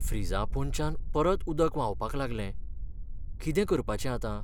फ्रिजा पोंदच्यान परत उदक व्हांवपाक लागलें. कितें करपाचें आतां?